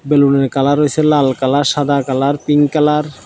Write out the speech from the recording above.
বেলুনের কালার হোইসে লাল কালার সাদা কালার পিঙ্ক কালার ।